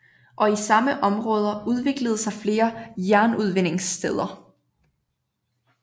Og i samme områder udviklede sig flere jernudvindingssteder